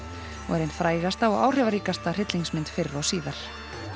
er ein frægasta og áhrifaríkasta hryllingsmynd fyrr og síðar